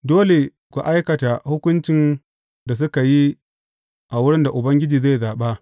Dole ku aikata hukuncin da suka yi a wurin da Ubangiji zai zaɓa.